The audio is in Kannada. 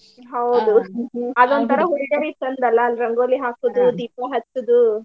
ಹೌದು. ಅದೋಂತರ ಹುಡ್ಗ್ಯಾರಿಗ ಚಂದ್ ಅಲ್ಲ ರಂಗೋಲಿ ಹಾಕುದು ದೀಪಾ ಹಚ್ಚುದು.